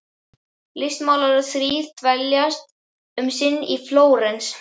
Listmálararnir þrír dveljast um sinn í Flórens.